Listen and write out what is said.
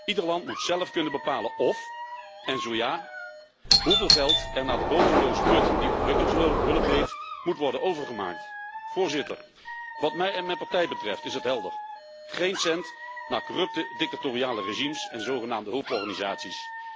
Ieder land moet zelf kunnen bepalen of, en zo ja hoeveel geld er naar de bodemloze put die ontwikkelingshulp heet, moet worden overgemaakt. Voorzitter, wat mij en mijn partij betreft is het helder geen cent naar corrupte dictatoriale regimes en zogenaamde hulporganisaties.